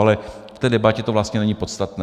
Ale v té debatě to vlastně není podstatné.